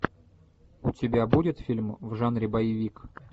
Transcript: у тебя будет фильм в жанре боевик